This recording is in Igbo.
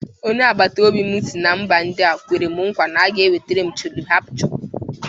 Onye agbataobi m si mba Indịa kwere m nkwa na o ga-enwetara m 'chole bhature'.